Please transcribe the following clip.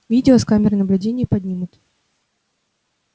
видео с камер наблюдения поднимут